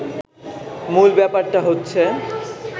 মূল ব্যাপারটা হচ্ছে